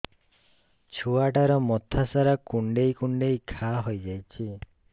ଛୁଆଟାର ମଥା ସାରା କୁଂଡେଇ କୁଂଡେଇ ଘାଆ ହୋଇ ଯାଇଛି